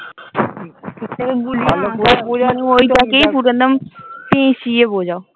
ঐটাকেই পুরো একদম পেঁচিয়ে বোঝাও।